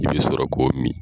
I bi sɔrɔ k'o min.